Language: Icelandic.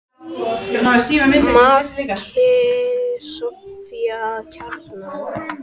Maki Soffía Kjaran.